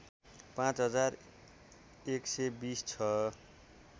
पाँच हजार १२० छ